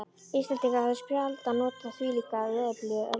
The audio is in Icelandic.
Íslendingar höfðu sjaldan notið þvílíkrar veðurblíðu á öldinni.